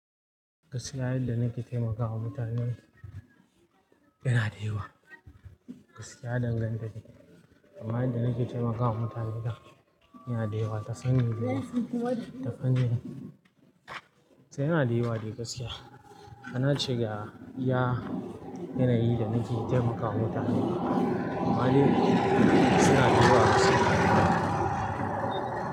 Gaskiya, yadda nake taimakawa mutane yana da yawa. Gaskiya, ɗan gane dani amma yadda nake taimakawa mutane da yana da yawa, ta fanni da yawa, ta fannin. Sai yana da yawa dai gaskiya. Nace ga iya yanayin da nake taimakawa mutane. Amma dai suna da yawa gaskiya.